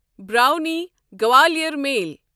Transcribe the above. براونی Gwalior میل